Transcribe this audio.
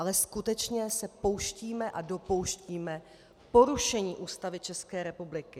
Ale skutečně se pouštíme a dopouštíme porušení Ústavy České republiky.